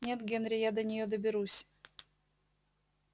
нет генри я до неё доберусь